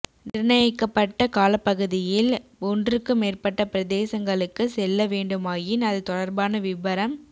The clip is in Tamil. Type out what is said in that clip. நிர்ணயிக்கப்பட்ட காலப்பகுதியில் ஒன்றுக்கு மேற்பட்ட பிரதேசங்களுக்கு செல்ல வேண்டுமாயின் அது தொடர்பான விபரம்